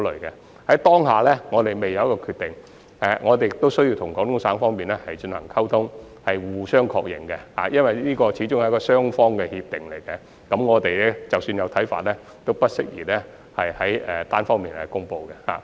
我們現時仍未有決定，我們亦需要與廣東省方面進行溝通及互相確認，因為這始終是雙方的協定，所以即使我們有一些看法，也不適宜單方面公布。